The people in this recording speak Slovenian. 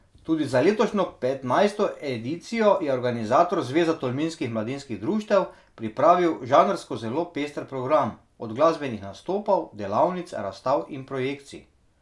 Tudi za letošnjo petnajsto edicijo je organizator, Zveza tolminskih mladinskih društev, pripravil žanrsko zelo pester program, od glasbenih nastopov, delavnic, razstav in projekcij.